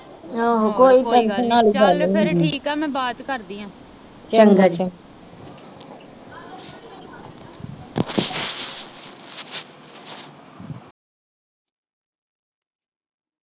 ਚਲ ਫਿਰ ਠੀਕ ਆ ਮੈ ਬਾਦ ਚ ਕਰਦੀ ਆ